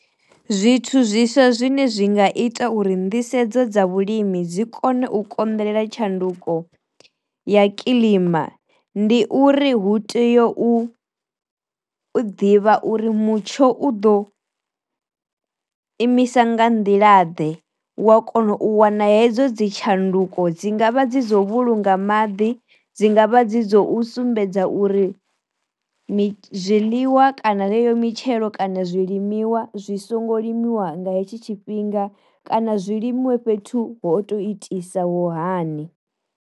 Zwithu zwi swa zwine zwi nga ita uri nḓisedzo dza vhulimi dzi kone u konḓelela tshanduko ya kiḽima ndi uri hu tea u ḓivha uri mutsho u ḓo imisa nga nḓila ḓe wa kona u wana hedzo dzi tshanduko dzi ngavha dzi dzo u vhulunga maḓi, dzi ngavha dzi dzo u sumbedza uri mi zwiḽiwa kana yeyo mitshelo kana zwi limiwa zwi songo limiwa nga hetsho tshifhinga kana zwi limiwe fhethu ho to itisaho hani.